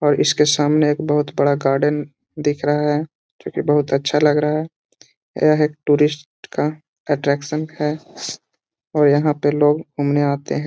और इसके सामने एक बहुत बड़ा गार्डन दिख रहा है जो कि बहुत अच्छा लग रहा है यह एक टूरिस्ट का अट्रैक्शन है और यहां पे लोग घूमने आते है।